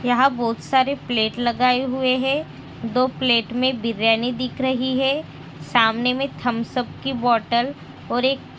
यहाँ बहुत सारे प्लेट लगाए हुए हैं। दो प्लेट में बिरियानी दिख रही हैं। सामने में थम्सअप की बोटल और एक --